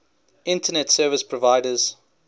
internet service providers